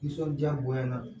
Nisɔndiya bonya na